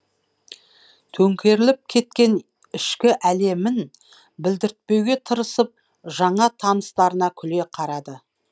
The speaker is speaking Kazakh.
төңкеріліп кеткен ішкі әлемін білдіртпеуге тырысып жаңа таныстарына күле қарады